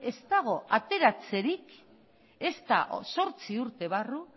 ez dago ateratzerik ezta zortzi urte barru